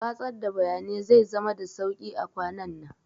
Watsar da bayanai zai zama da sauƙi a kwanannan